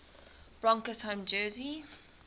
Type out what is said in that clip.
broncos home jersey